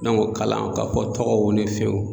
N'an k'o kalan ka fɔ tɔgɔw ni fenw